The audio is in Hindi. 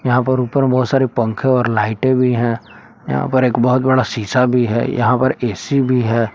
यहां पर ऊपर बहुत सारे पंखे और लाइटे भी हैं यहां पर एक बहुत बड़ा सीसा भी है यहां पर ऐ_सी भी हैं।